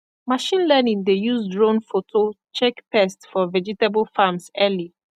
machine learning dey use drone photo check pest for vegetable farms early